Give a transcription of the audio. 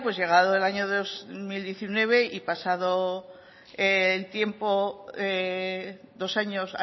llegado el año dos mil diecinueve y pasado el tiempo dos años